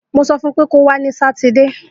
Mo sọ fún pé kọwa ni Sátidé.